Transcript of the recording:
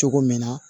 Cogo min na